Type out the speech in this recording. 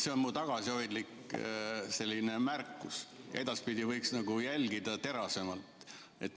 See on minu tagasihoidlik märkus, edaspidi võiksite terasemalt jälgida.